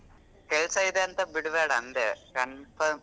ಕೆಲ್ಸ ಇದೆ ಅಂತ ಬಿಡ್ಬೇಡ ಅಂದೆ confirm .